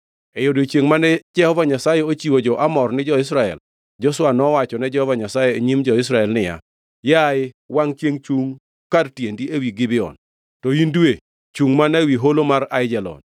E odiechiengʼ mane Jehova Nyasaye ochiwo jo-Amor ni jo-Israel, Joshua nowachone Jehova Nyasaye e nyim jo-Israel niya, “Yaye wangʼ chiengʼ, chungʼ kar tiendi ewi Gibeon, to in dwe, chungʼ mana ewi holo mar Aijalon.”